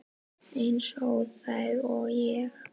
Eins óþæg og ég?